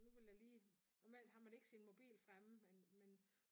Nu ville jeg lige normalt har man ikke sin mobil fremme men men